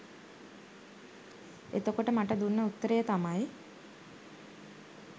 එතකොට මට දුන්න උත්තරය තමයි